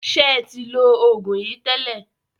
Ṣé ẹ ti lo oògùn yìí tẹ́lẹ̀?